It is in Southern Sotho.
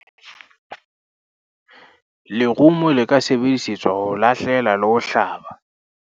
lerumo le ka sebedisetswa ho lahlela le ho hlaba